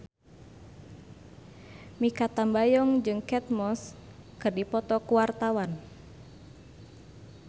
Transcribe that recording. Mikha Tambayong jeung Kate Moss keur dipoto ku wartawan